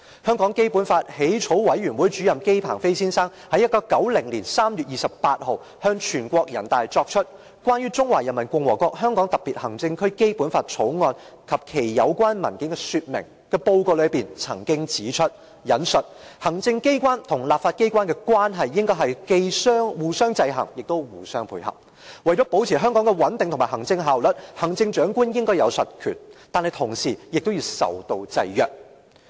香港基本法起草委員會主任委員姬鵬飛先生於1990年3月28日向全國人大作出"關於《中華人民共和國香港特別行政區基本法》及其有關文件的說明"的報告曾經指出："行政機關和立法機關之間的關係應該是既互相制衡又互相配合；為了保持香港的穩定和行政效率，行政長官應有實權，但同時也要受到制約。